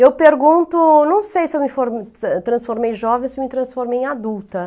Eu pergunto, não sei se eu me formei, transformei jovem ou se me transformei em adulta.